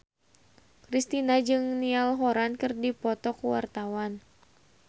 Kristina jeung Niall Horran keur dipoto ku wartawan